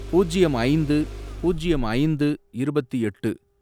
பூஜ்யம் ஐந்து, பூஜ்யம் ஐந்து , இருபத்து எட்டு